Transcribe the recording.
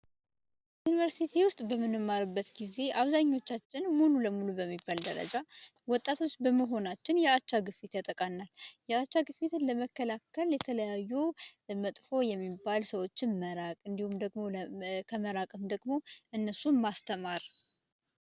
በዩንቨርስቲ በምንማርበት ጊዜ አብዛኞቻች ሙሉ በሙሉ በሚባል ደረጃ ወጣት በመሆናችን የአቻ ግፊት ያጠቃናል የአቻ ግፊቱን ለመከላከል የተለያዩ መጥፎ የሚባሉ ሰዎች መራቅ አለብን ከመራቅም ደግሞ እነሱን ማስተማር አለብን።